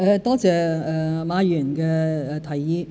多謝馬議員的提議。